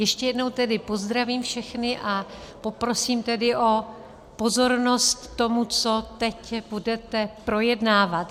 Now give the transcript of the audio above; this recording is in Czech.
Ještě jednou tedy pozdravím všechny a poprosím tedy o pozornost tomu, co teď budete projednávat.